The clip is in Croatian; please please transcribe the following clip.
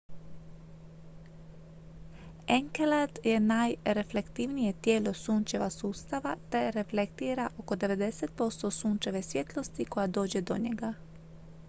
enkelad je najreflektivnije tijelo sunčeva sustava te reflektira oko 90 posto sunčeve svjetlosti koja dođe do njega